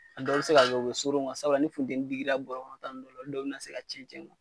A dɔw bɛ se ka kɛ u be suurun sabula ni futeni digila guwa tan olu dɔw bi na se ka cɛn cɛn